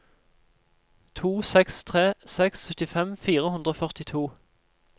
to seks tre seks syttifem fire hundre og førtito